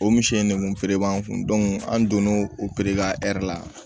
O misi in nekun feere b'an kun an donn'o o pere ka ɛri la